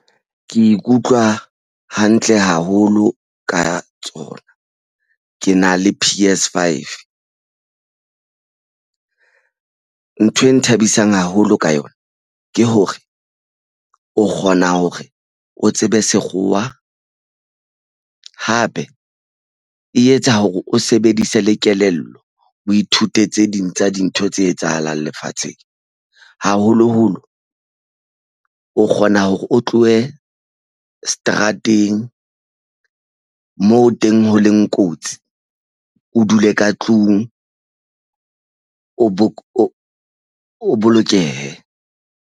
Ke ikutlwa hantle haholo ka tsona. Ke na le P_S five. Ntho e nthabisang haholo ka yona ke hore o kgona hore o tsebe sekgowa hape e etsa hore o sebedise le kelello, o ithute tse ding tsa dintho tse etsahalang lefatsheng haholoholo o kgona hore o tlohe seterateng moo teng ho leng kotsi o dule ka tlung o bolokehe.